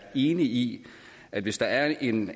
enig i at hvis der er en